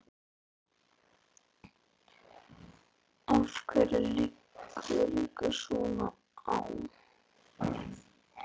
Af hverju liggur ykkur svona á?